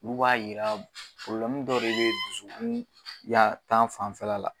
Olu b'a yira dɔ de bɛ dusu ya tan fanfɛla la